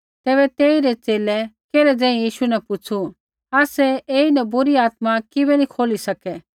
तैबै तेइरै च़ेले केल्है ज़ेही यीशु न पुछ़ू आसै ऐईन बुरी आत्मा किबै नी खोली सकै